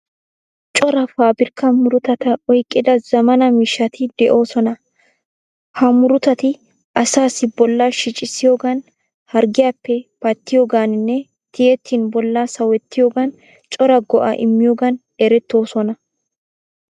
Cora faabirkka murutata oyqqida zaammana miishshati de'oosona. Ha murutati asaassi bollaa shicissiyoogan, harggiyappe pattiyogaaninne tiyettin bollaa sawettiyogaan cora go'aa immiyogan erettoosona.